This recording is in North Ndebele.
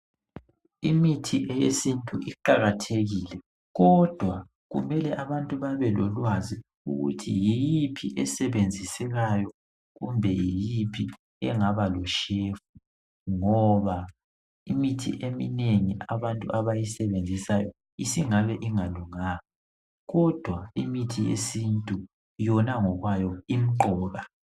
Imithi eyesintu iqakathekile ,kodwa kumele abantu babe lolwazi ukuthi yiphi esebenzisekayo kumbe yiphi engaba loshefu. ngoba imithi eminengi abantu abayisebenzisayo isingabe ingalunganga kodwa imithi yesintu yona ngokwayo imqoka.